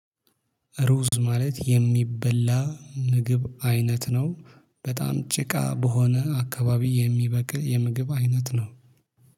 ሩዝ ማለት የሚበላ ምግብ አይነት ነው። በጣም ጭቃ በሆነ አካባቢ የሚበቅል የምግብ አይነት ነው።